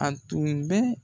An tun bɛ